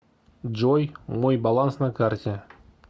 джой мой баланс на карте